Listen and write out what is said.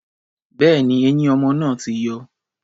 Bẹ́ẹ̀ni, eyín ọmọ náà ti yọ.